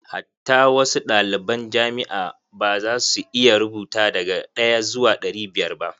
Hatta wasu ɗaliban jamia ma ba za su iya rubuta daga ɗaya zuwa ɗari biyar ba.